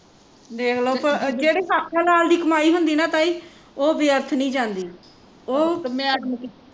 ਵੇਖਲੋ ਭਲਾ ਜਿਹੜੀ ਹੱਕ ਹਲਾਲ ਦੀ ਕਮਾਈ ਹੁੰਦੀ ਨਾ ਤਾਈ ਉਹ ਵਿਅਰਥ ਨੀ ਜਾਂਦੀ ਉਹ